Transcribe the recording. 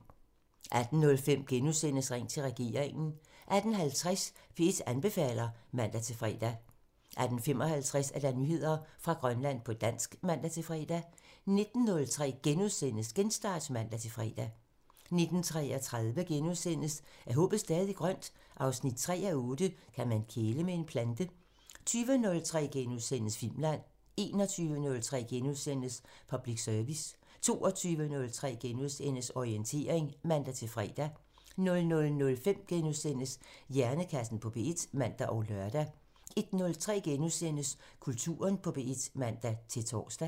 18:05: Ring til regeringen *(man) 18:50: P1 anbefaler (man-fre) 18:55: Nyheder fra Grønland på dansk (man-fre) 19:03: Genstart *(man-fre) 19:33: Er håbet stadig grønt? 3:8 – Kan man kæle med en plante? * 20:03: Filmland * 21:03: Public Service *(man) 22:03: Orientering *(man-fre) 00:05: Hjernekassen på P1 *(man og lør) 01:03: Kulturen på P1 *(man-tor)